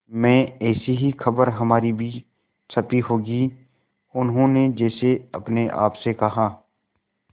में ऐसी ही खबर हमारी भी छपी होगी उन्होंने जैसे अपने आप से कहा